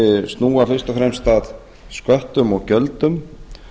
snúa fyrst og fremst að sköttum og gjöldum